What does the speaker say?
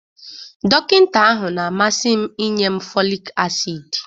Dọkịta ahụ na-amasị m inye m folic acid